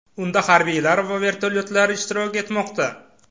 Unda harbiylar va vertolyotlar ishtirok etmoqda.